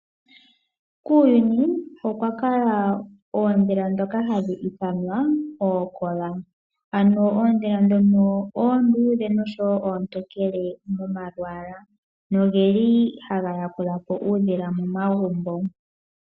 Kuuyuni okwa kala oondhila dhono ha dhi ithanwa ookola. Ano oondhila dhono oondudhe nosho wo ootokele momalwaala noge li haga yakula po uundhila momagumbo.